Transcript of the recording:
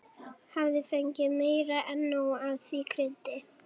Hafði fengið meira en nóg af því kryddi.